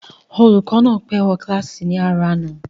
Olùkọ́ náà pé wo kílàsì ní àárò àná